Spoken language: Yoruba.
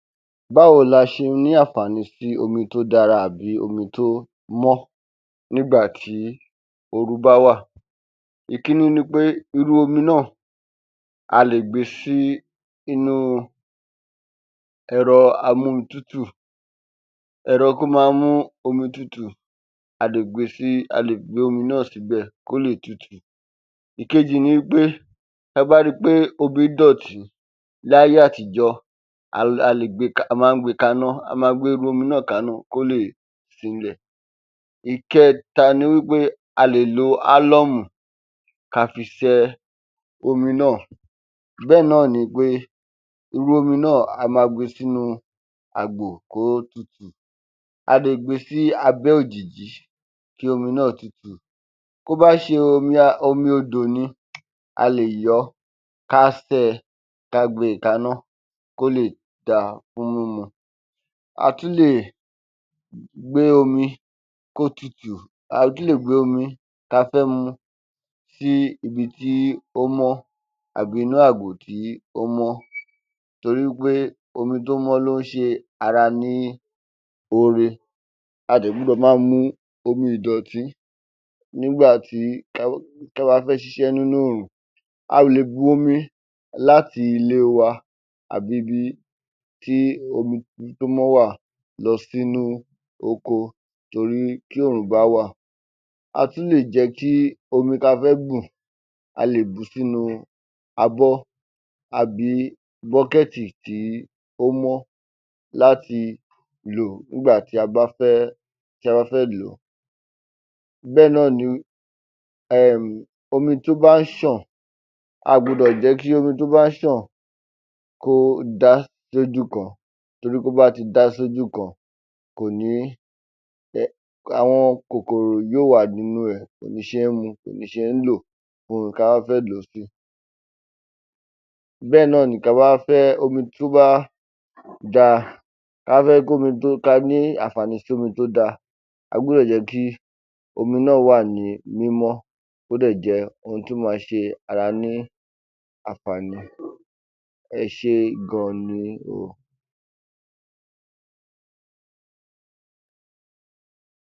Báwo la ṣe ní àǹfàní sí omi tó dára àbí omi tó mọ́ nígbà tí oru bá wà. Ìkíní ni pé irú omi náà, a lè gbe sí inú ẹ̀rọ amómitutù ẹ̀rọ kó ma mú omi tutù a lè gbé omi náà síbẹ̀ kí ó lè tutù. Ìkejì ni pé tí a bá rí pe omi dọ̀tí láyé àtijọ́ a má ń gbe kaná, a má ń gbé irú omi náà kaná kó lè sinlẹ̀. Ìkẹta ni wí pé a lè lo álọ́ọ̀mù ka fi sẹ́ omi náà, bẹ́ẹ̀ náà ni pé irú omi náà a ma gbe sínú àgbò kó tutù, a lè gbe sí abẹ́ òjìjí kí omi náà tutù. Kó bá ṣe omi odò ni, a lè yọ̀ ọ́, ká sẹ́ ẹ, ká gbe kaná kó lè da fún mímu. A tún lè gbé omi kó tutù, a tún lè gbé omi tí a fẹ́ mu sí ibití o mọ́ àbí inú àgbò tí ó mọ́ torí wí pé omi tó mọ́ ló ń ṣe ara ní oore, a à dè gbọ́dọ̀ ma mu omi ìdọ̀tí. Nígbà tí a bá fẹ́ ṣiṣẹ́ nínú òrùn, a lè bu omi láti ilé wa àbí ibití omi tí ó mọ́ wà lo sí inú oko torí tí òrùn bá wà. A tún lè jẹ kí omi tí a fẹ́ bù a lè bùú sínú abọ́ àbí bọ́kẹ́ẹ̀tì tí ó mọ́ láti lò nígbà tí a bá fẹ́ lò ó. Bẹ́ẹ̀ náà ni um omi tí ó bá ń ṣàn, a à gbọ́dọ̀ jẹ́ kí omi tó bá ń ṣàn kí ó dá sí ojú kan torí tí ó bá ti dá sí ojú kan kò ní, àwọn kòkòrò yóò wà nínú rẹ̀ kò ní ṣe é mu kò ní ṣe é lò fún ohun tí a bá fẹ́ lò ó fún. Bẹ́ẹ̀ náà ni tí a bá fẹ́, omi tí ó bá da tí a bá fẹ́ ka ní àǹfàní sí omi tó da, a gbọ́dọ̀ jẹ́ kí omi náà wà ní mímọ́ kí ó dẹ̀ jé ohun tí ó ma ṣe ara ní àǹfàní, ẹ sẹ́ gan ni o.